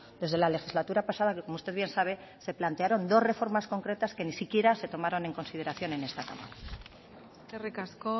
desde la legislatura pasada que como usted bien sabe se plantearon dos reformas concretas que ni siquiera se tomaron en consideración en esta cámara eskerrik asko